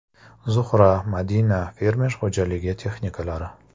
“Zuhra–Madina” fermer xo‘jaligi texnikalari.